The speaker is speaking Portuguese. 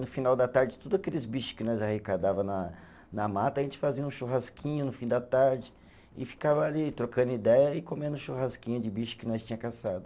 No final da tarde, todo aqueles bicho que nós arrecadava na na mata, a gente fazia um churrasquinho no fim da tarde e ficava ali trocando ideia e comendo churrasquinho de bicho que nós tinha caçado.